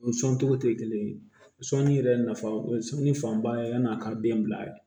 O sɔn togo te kelen ye sɔli yɛrɛ nafa o sɔli fanba ye yani a ka den bila